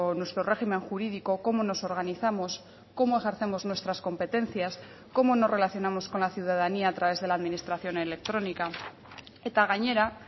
nuestro régimen jurídico cómo nos organizamos cómo ejercemos nuestras competencias cómo nos relacionamos con la ciudadanía a través de la administración electrónica eta gainera